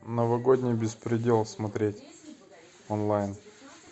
новогодний беспредел смотреть онлайн